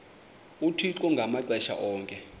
uthixo ngamaxesha onke